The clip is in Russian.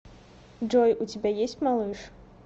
джой у тебя есть малыш